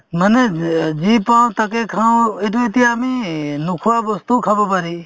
মানে যে~যি পাওঁ তাকে খাওঁ এইটো এতিয়া আমি নোখোৱা বস্তুও খাব পাৰি